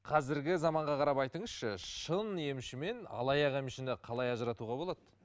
қазіргі заманға қарап айтыңызшы шын емші мен алаяқ емшіні қалай ажыратуға болады